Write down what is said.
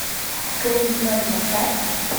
кэндимэн поставь